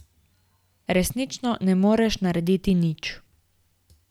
Resnično ne moreš narediti nič.